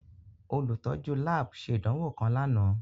Olutọju lab ṣe idanwo kan làná.